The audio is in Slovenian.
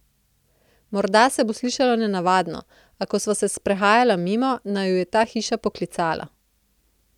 Morda se bo slišalo nenavadno, a ko sva se sprehajala mimo, naju je ta hiša poklicala.